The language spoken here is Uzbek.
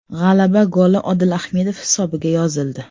G‘alaba goli Odil Ahmedov hisobiga yozildi.